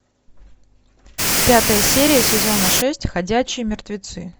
пятая серия сезона шесть ходячие мертвецы